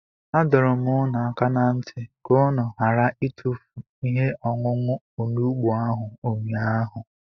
Adọrum unu aka na nti ka unu ghara itufu ihe-ọṅuṅu onugbu ahu unyaahu.